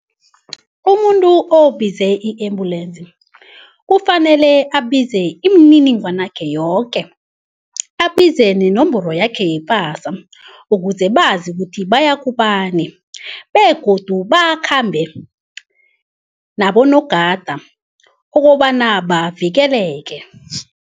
Umuntu obize i-embulensi kufanele abize imininingwanakhe yoke, abize nenomboro yakhe yepasa ukuze bazi ukuthi baya kubani begodu bakhambe nabonogada ukobana bavikeleke.